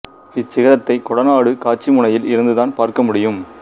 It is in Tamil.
இச் சிகரத்தை கொடநாடு காட்சி முனையில் இருந்துதான் பார்க்க முடியும்